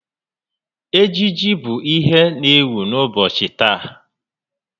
Ejiji bụ ihe n'ewu n'ụbọchị taa